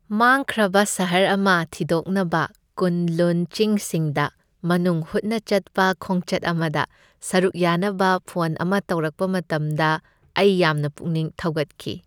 ꯃꯥꯡꯈ꯭ꯔꯕ ꯁꯍꯔ ꯑꯃ ꯊꯤꯗꯣꯛꯅꯕ ꯀꯨꯟ ꯂꯨꯟ ꯆꯤꯡꯁꯤꯡꯗ ꯃꯅꯨꯡ ꯍꯨꯠꯅ ꯆꯠꯄ ꯈꯣꯡꯆꯠ ꯑꯃꯗ ꯁꯔꯨꯛ ꯌꯥꯅꯕ ꯐꯣꯟ ꯑꯃ ꯇꯧꯔꯛꯄ ꯃꯇꯝꯗ ꯑꯩ ꯌꯥꯝꯅ ꯄꯨꯛꯅꯤꯡ ꯊꯧꯒꯠꯈꯤ ꯫